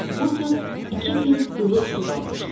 Vurtut iki pint ilıq su qalmışdı.